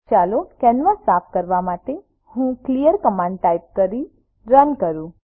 ચાલો કેનવાસ સાફ કરવા માટે હું ક્લિયર કમાન્ડ ટાઇપ કરી રન કરું